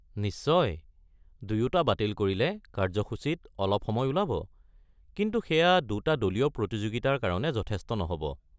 নিশ্চয়, দুয়োটা বাতিল কৰিলে কাৰ্যসূচীত অলপ সময় ওলাব, কিন্তু সেয়া দুটা দলীয় প্ৰতিযোগিতাৰ কাৰণে যথেষ্ট নহব।